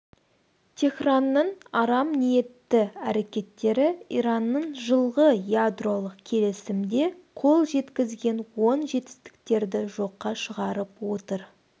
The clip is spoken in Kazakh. теһранның арам ниетті әрекеттері иранның жылғы ядролық келісімде қол жеткізген оң жетістіктерді жоққа шығарып отыр